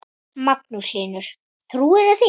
Magnús Hlynur: Trúirðu því?